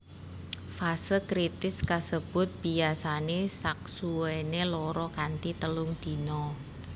Fase kritis kasebut biyasane saksuwene loro kanthi telung dina